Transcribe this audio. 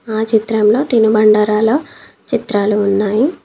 ఆ చిత్రంలో తినుబండారాల చిత్రాలు ఉన్నాయి.